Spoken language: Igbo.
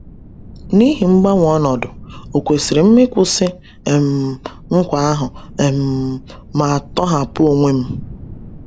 N’ihi mgbanwe ọnọdụ, ọ kwesịrị m ịkwụsị um nkwa ahụ um ma tọhapụ onwe m?